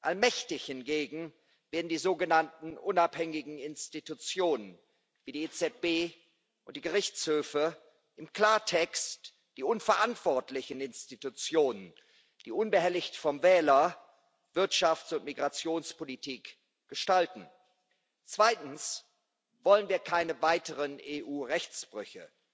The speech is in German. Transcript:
Allmächtig hingegen werden die sogenannten unabhängigen Institutionen, wie die EZB und die Gerichtshöfe im Klartext die unverantwortlichen Institutionen, die unbehelligt vom Wähler Wirtschafts und Migrationspolitik gestalten. Zweitens wollen wir keine weiteren EU Rechtsbrüche.